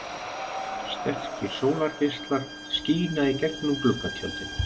Sterkir sólargeislar skína í gegnum gluggatjöldin.